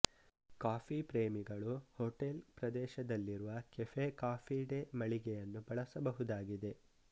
coffee ಪ್ರೇಮಿಗಳು hotel ಪ್ರದೇಶದಲ್ಲಿರುವ Cafe Coffee Day ಮಳಿಗೆಯನ್ನು ಬಳಸಬಹುದಾಗಿದೆ